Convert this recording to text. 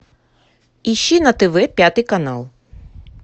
ищи на тв пятый канал